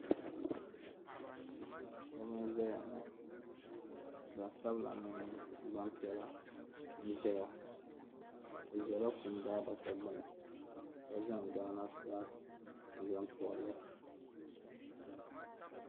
shɛba n-zaya ŋɔ gbansabila mini gbampiɛla n-zaya bɛ zala kum daadaka gbuni ka zaŋ ghana fulaaki n-zaŋ pɔbi li